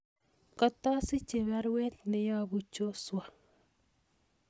Katasiche baruet neyobu Joshua